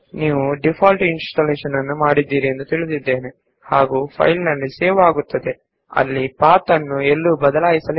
ನೀವು ಫೈಲ್ ಗಳು ಸೇವ್ ಆಗುವ ಯಾವುದೇ ಪಾತ್ ನ್ನು ಬದಲಾಯಿಸದೇ ಡೀಫಾಲ್ಟ್ ಇನ್ಸ್ಟಾಲೇಶನ್ ಮಾಡಿದ್ದೀರಿ ಎಂದು ನಾನು ಭಾವಿಸುತ್ತೇನೆ